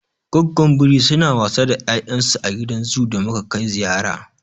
Goggon biri suna wasa da ya'yan su a gidan zoo da muka kai ziyara.